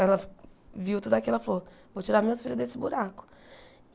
Ela viu tudo aquilo ela falou, vou tirar minhas filhas desse buraco.